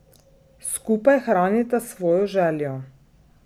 Skupaj hranita svojo željo.